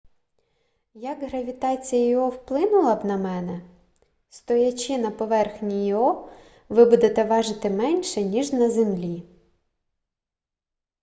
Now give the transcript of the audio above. як гравітація іо вплинула б на мене стоячи на поверхні іо ви будете важити менше ніж на землі